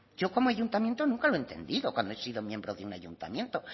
yo como ayuntamiento nunca lo he entendido cuando he sido miembro de un ayuntamiento